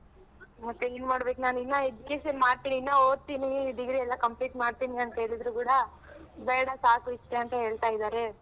ಮತ್ತೆ ಏನ್ ಮಾಡ್ಬೇಕು ನಾನ್ ಇನ್ನ education ಮಾಡ್ತೀನಿ ಇನ್ನ ಓದ್ತೀನಿ degree ಎಲ್ಲಾ complete ಮಾಡ್ತೀನಿ ಅಂತ್ ಹೇಳಿದ್ರು ಕೂಡ ಬೇಡ ಸಾಕು ಇಷ್ಟೇ ಅಂತ ಹೇಳ್ತಾ ಇದಾರೆ.